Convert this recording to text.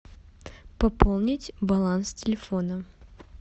пополнить баланс телефона